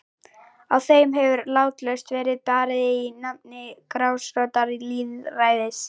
Á þeim hefur látlaust verið barið í nafni grasrótarlýðræðis.